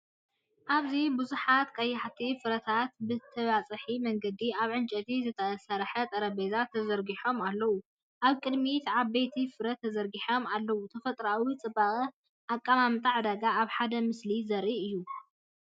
ኣብዚ ብዙሓት ቀያሕቲ ፍረታት ብተበጻሒ መንገዲ ኣብ ዕንጨይቲ ዝተሰርሐ ጠረጴዛ ተዘርጊሖም ኣለዉ። ኣብ ቅድሚት ዓበይቲ ፍረታት ተዘርጊሖም ኣለዉ። ተፈጥሮኣዊ ጽባቐን ኣቀማምጣ ዕዳጋን ኣብ ሓደ ምስሊ ዘርኢ እዩ።